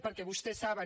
perquè vostès saben